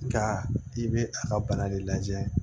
Nka i bɛ a ka bana de lajɛ